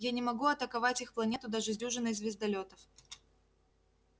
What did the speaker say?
я не могу атаковать их планету даже с дюжиной звездолётов